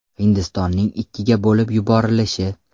Hindistonning ikkiga bo‘lib yuborilishi.